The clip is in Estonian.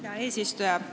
Hea eesistuja!